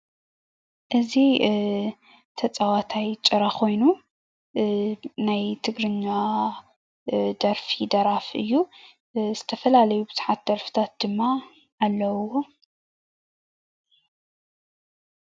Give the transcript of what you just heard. እዚ ተጫዋታይ ጭራ ኮይኑ ናይ ትግርኛ ደርፊ ደራፊ እዩ ዝተፈላለዩ ብዙሓት ደርፍታት ድማ ኣለውዎ፡፡